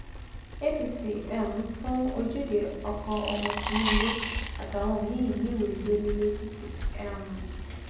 apc um fún ojúde ọkọ ọmọ tinubu àtàwọn míín níwèé gbélé lèkìtì um